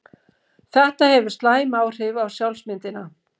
Þetta hefur slæm áhrif á sjálfsmyndina.